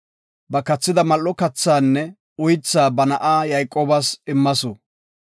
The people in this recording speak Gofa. Ba kathida mal7o kathaanne uythaa ba na7a Yayqoobas immasu.